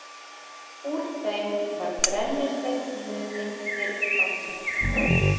Úr þeim var brennisteinn numinn fyrr á tíð.